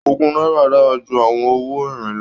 Ogún náírà dára ju àwọn owó irin lọ